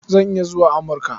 Zan iya zuwa Amurka.